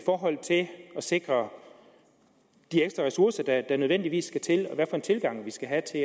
sikre de ekstra ressourcer der nødvendigvis skal til og hvilken tilgang vi skal have til